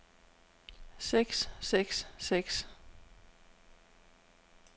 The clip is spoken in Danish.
seks seks seks